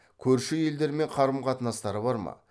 көрші елдермен қарым қатынастары бар ма